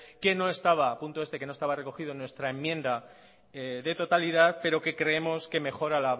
que no estaba punto este que no estaba recogido en nuestra enmienda de totalidad pero que creemos que mejora